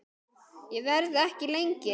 Ég verð ekki lengi